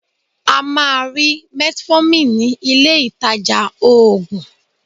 A máa rí metformin ní ileh-ìtajà oògùn.